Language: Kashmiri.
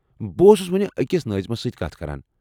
بہٕ اوسُس ؤنہِ أکِس نٲظمس سۭتۍ کتھ کران۔